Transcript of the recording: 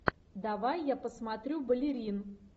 давай я посмотрю балерин